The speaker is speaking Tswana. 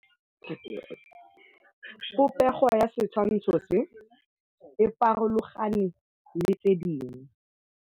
Popêgo ya setshwantshô se, e farologane le tse dingwe.